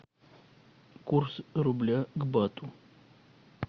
курс рубля к бату